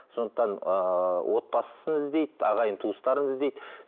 сондықтан ыыы отбасын іздейді ағайын туыстарын іздейді